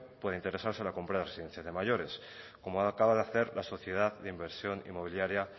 pueda interesarse en la compra de residencia de mayores como acaba de hacer la sociedad de inversión inmobiliaria